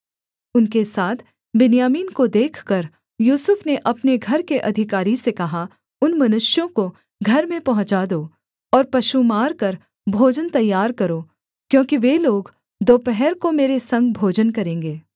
उनके साथ बिन्यामीन को देखकर यूसुफ ने अपने घर के अधिकारी से कहा उन मनुष्यों को घर में पहुँचा दो और पशु मारकर भोजन तैयार करो क्योंकि वे लोग दोपहर को मेरे संग भोजन करेंगे